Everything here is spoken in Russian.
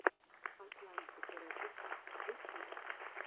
атлантик рекордс ютьюб